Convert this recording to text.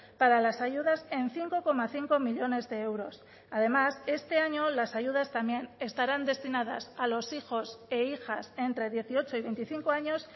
para las ayudas en cinco coma cinco millónes de euros además este año las ayudas también estarán destinadas a los hijos e hijas entre dieciocho y veinticinco años